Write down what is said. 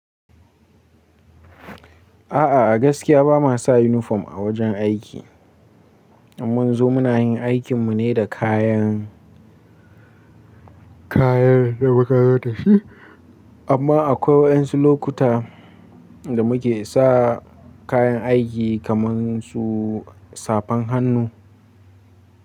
A'a a gaskiya ba ma sa yunifom a wajen aiki, ummun zo muna yin aikin mu ne da kayan, kayan da muka zo da shi. Amma akwai wasu lokuta da muke sa kayan aiki kaman su safan hannu.